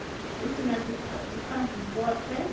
hu si na dzithanzi vhothe